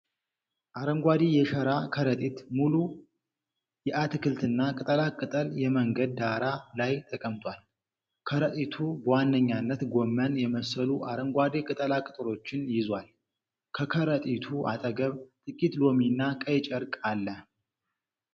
አረንጓዴ የሸራ ከረጢት ሙሉ የአትክልትና ቅጠላ ቅጠል የመንገድ ዳር ላይ ተቀምጧል። ከረጢቱ በዋነኛነት ጎመን የመሰሉ አረንጓዴ ቅጠላ ቅጠሎችን ይዟል። ከከረጢቱ አጠገብ ጥቂት ሎሚና ቀይ ጨርቅ አለ።